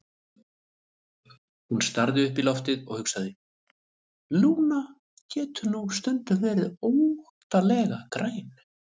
Hún starði upp í loftið og hugsaði: Lúna getur nú stundum verið óttalega græn.